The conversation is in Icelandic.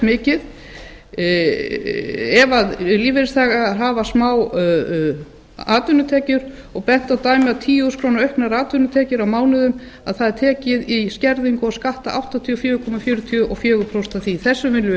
mikið ef lífeyrisþegar hafa smávegis atvinnutekjur bent er á dæmi að af tíu þúsund krónur í auknar atvinnutekjur á mánuði er tekið í skerðingu og skatta áttatíu og fjögur komma fjörutíu og fjögur prósent þessu viljum